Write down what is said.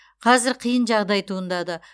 қазір қиын жағдай туындады